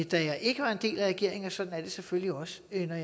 da jeg ikke var en del af regeringen og sådan er det selvfølgelig også når